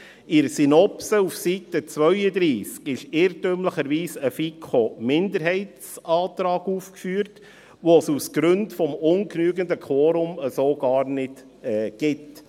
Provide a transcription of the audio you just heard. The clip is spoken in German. In der Synopse auf Seite 32 ist irrtümlicherweise ein FiKo-Minderheitsantrag aufgeführt, den es aus Gründen des ungenügenden Quorums so gar nicht gibt.